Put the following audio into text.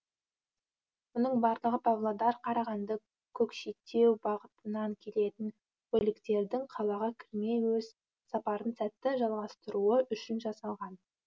мұның барлығы павлодар қарағанды көкшетеу бағытынан келетін көліктердің қалаға кірмей өз сапарын сәтті жалғастыруы үшін жасалған